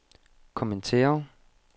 kommentere